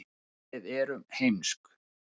ef við erum heimsk